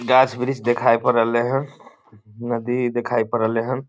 गाछ वृक्ष देखाय पड़ रहले हन नदी देखाय पड़ रहले हन।